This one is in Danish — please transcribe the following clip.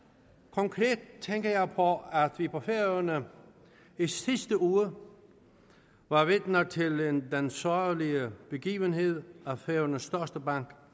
konkret tænker jeg på at vi på færøerne i sidste uge var vidner til den sørgelige begivenhed at færøernes største bank